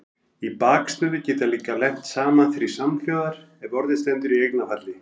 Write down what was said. Í bakstöðu geta líka lent saman þrír samhljóðar ef orðið stendur í eignarfalli.